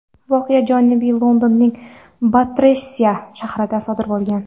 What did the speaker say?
Voqea Janubiy Londonning Batterseya shahrida sodir bo‘lgan.